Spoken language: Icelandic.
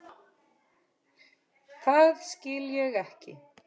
Það skil ég ekki.